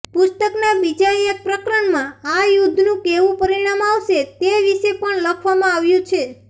પુસ્તકના બીજા એક પ્રકરણમાં આ યુદ્ધનું કેવુ પરિણામ આવશે તે વિષે પણ લખવામાં આવ્યું છે